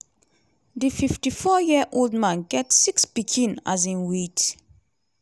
di 54-year-old man get six pikin um wit